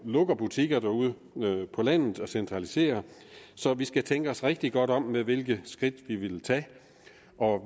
lukke butikker ude på landet og centralisere så vi skal tænke os rigtig godt om med hvilke skridt vi vil tage